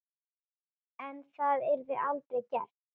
En það yrði aldrei gert.